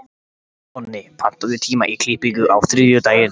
Nonni, pantaðu tíma í klippingu á þriðjudaginn.